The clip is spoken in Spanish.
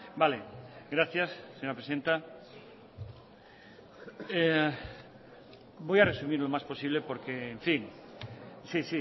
vale gracias señora presidenta voy a resumir lo más posible porque en fin sí